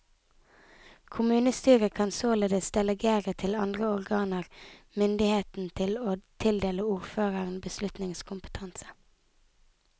Kommunestyret kan således delegere til andre organer myndigheten til å tildele ordføreren beslutningskompetanse.